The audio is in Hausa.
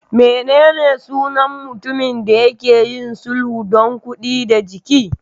Menene sunan mutumin da ke yin sulhu don kuɗi da jiki?